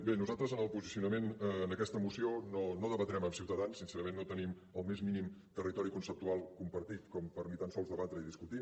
bé nosaltres en el posicionament en aquesta moció no debatrem amb ciutadans sincerament no tenim el més mínim territori conceptual compartit com per ni tant sols debatre i discutir